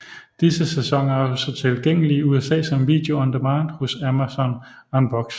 Disse sæsoner er også tilgængelige i USA som video on demand hos Amazon Unbox